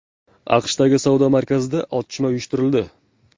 AQShdagi savdo markazida otishma uyushtirildi.